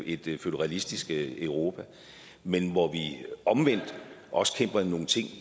et føderalistisk europa men hvor vi omvendt også kæmper nogle ting